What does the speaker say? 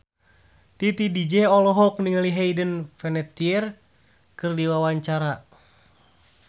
Titi DJ olohok ningali Hayden Panettiere keur diwawancara